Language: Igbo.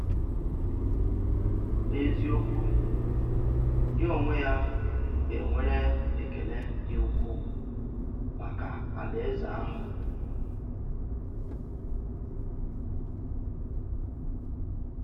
N’eziokwu, ya onwe ya gà-nwèrè ekele dị́ ukwuu maka Àláèzè àhụ̀.